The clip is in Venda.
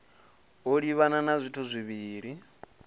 o livhana na zwithu zwivhili